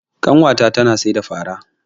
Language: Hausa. Ƙanwa ta tana sayar da fara.